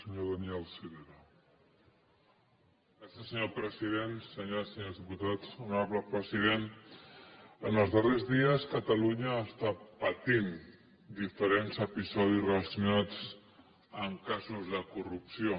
senyores i senyors diputats honorable president en els darrers dies catalunya està patint diferents episodis relacionats amb casos de corrupció